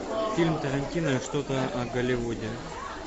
фильм тарантино что то о голливуде